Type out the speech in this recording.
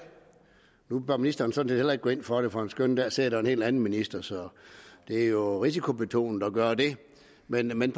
nu bør ministeren sådan set heller ikke gå ind for det for en skønne dag sidder der en helt anden minister så det er jo risikobetonet at gøre det men men